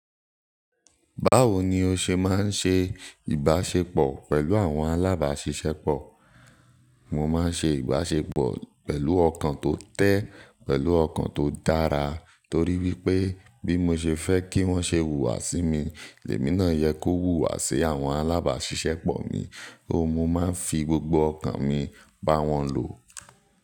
Báwo ni o ṣe máa ń ṣe ìbáṣepọ̀ pẹ̀lú àwọn alábáṣiṣẹ́pọ̀? Mo máa ń ṣe ìbáṣepọ̀ pẹ̀lú ọkàn tó tẹ́, pẹ̀lú ọkàn tó dára, torí wípé bí mo ṣe fẹ́ kí wón ṣe wùwà sí mi, èmi náà yẹ kó wùwà sí àwọn alábáṣiṣẹ́pọ̀ mi. Óun, mo máa ń fi gbogbo ọkàn mi bá wọn lò.